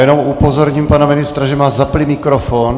Jenom upozorním pana ministra, že má zapnutý mikrofon.